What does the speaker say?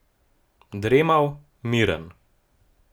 Dremav, miren.